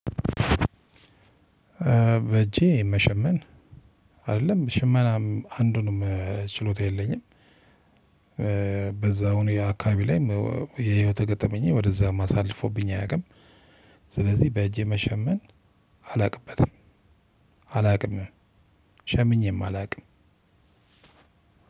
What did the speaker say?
በእጄ መሸመን አይደለም ሽመናም አንዱንም ችሎታ የለኝም። በዛውኑ የአካባቢ ላይም የህይወት ገጠመኝ ወደዛም አሳልፎብኝ አያቅም ስለዚህ በእጄ መሸመን አላውቅበትም። አላውቅም ሸምኜም አላውቅም።